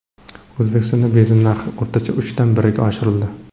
O‘zbekistonda benzin narxi o‘rtacha uchdan biriga oshirildi.